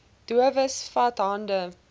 dowes vat hande